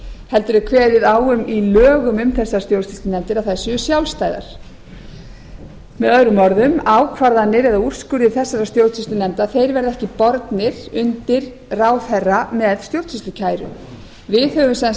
heldur er kveðið í lögum á um þessar stjórnsýslunefndir að þær séu sjálfstæðar möo ákvarðanir á úrskurðir þessara stjórnsýslunefndir verða ekki bornir undir ráðherra með stjórnsýslukæru við höfum sem